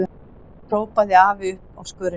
hrópaði afi uppi á skörinni.